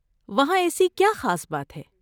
وہاں ایسی کیا خاص بات ہے؟